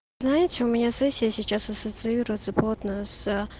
знаете у меня сессия сейчас ассоциируется плотно с а